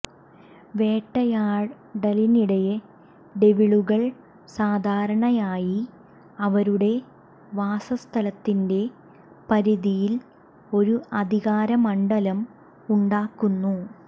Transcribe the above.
വേട്ടയാടലിനിടെ ഡെവിളുകൾ സാധാരണയായി അവരുടെ വാസസ്ഥലത്തിന്റെ പരിധിയിൽ ഒരു അധികാരമണ്ഡലം ഉണ്ടാക്കുന്നു